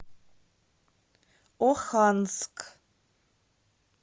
оханск